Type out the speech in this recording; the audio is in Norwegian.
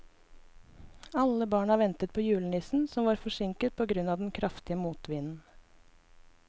Alle barna ventet på julenissen, som var forsinket på grunn av den kraftige motvinden.